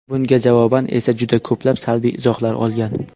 Bunga javoban esa juda ko‘plab salbiy izohlar olgan.